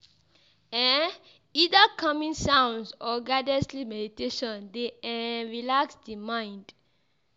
um Either calming sounds or guided sleep meditation de um relax di mind